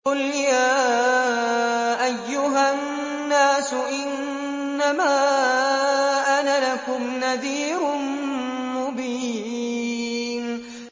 قُلْ يَا أَيُّهَا النَّاسُ إِنَّمَا أَنَا لَكُمْ نَذِيرٌ مُّبِينٌ